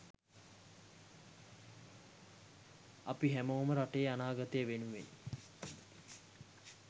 අපි හැමෝම රටේ අනාගතය වෙනුවෙන්